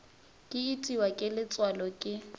ke itiwa ke letswalo ke